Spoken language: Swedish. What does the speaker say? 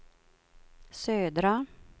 södra